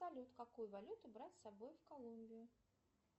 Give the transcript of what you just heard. салют какую валюту брать с собой в колумбию